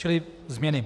Čili změny: